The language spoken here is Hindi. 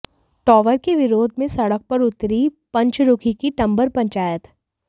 टावर के विरोध में सड़क पर उतरी पंचरुखी की टंबर पंचायत